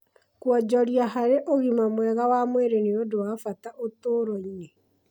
Kũonjoria hari ũgima mwega wa mwĩrĩ nĩ ũndũ wa bata ũtũũro-inĩ